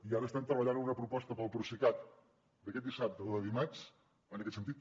i ara estem treballant en una proposta per al procicat d’aquest dissabte o de dimarts en aquest sentit